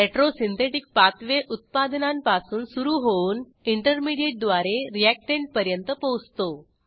retrosynthetic pathway उत्पादनांपासून सुरू होऊन इंटरमिडियेटद्वारे रीअॅक्टंटपर्यंत पोचतो